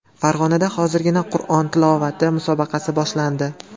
Farg‘onada hozirgina Qur’on tilovati musobaqasi boshlandi.